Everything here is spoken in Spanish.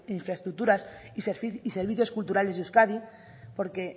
infraestructuras y servicios culturales de euskadi porque